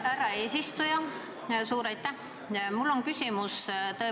Härra eesistuja, suur aitäh!